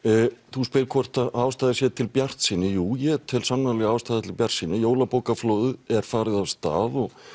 þú spyrð hvort ástæða sé til bjartsýni jú ég tel sannarlega ástæðu til bjartsýni jólabókaflóðið er farið af stað og